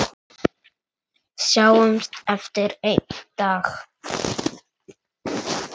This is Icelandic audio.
Sjáumst aftur einn daginn.